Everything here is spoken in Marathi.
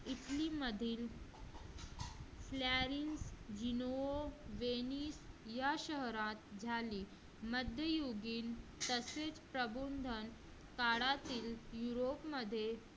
इटलीमध्ये या शहरात झाले मध्ययुगीन तसेच प्रबोधन काळातील युरोपमध्ये